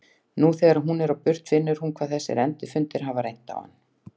Nú þegar hún er á burt finnur hann hvað þessir endurfundir hafa reynt á hann.